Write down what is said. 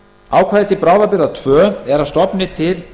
ákvæði til bráðabirgða tveir eru að stofni til